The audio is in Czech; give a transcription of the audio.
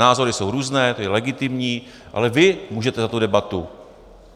Názory jsou různé, to je legitimní, ale vy můžete za tu debatu.